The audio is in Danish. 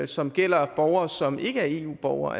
som gælder borgere som ikke er eu borgere